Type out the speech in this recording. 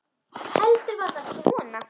Heldur var það svona!